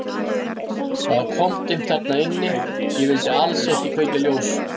Það var koldimmt þar inni og ég vildi alls ekki kveikja ljós.